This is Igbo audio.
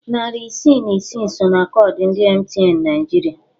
Narị isii na isi so na koodu ndị MTN Naịjirịa.